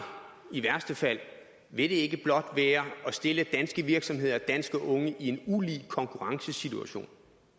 i værste fald vil det ikke blot være at stille danske virksomheder og danske unge i en ulige konkurrencesituation